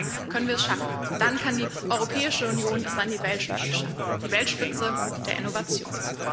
Dann können wir es schaffen, dann kann die Europäische Union es an die Weltspitze schaffen, an die Weltspitze der Innovation.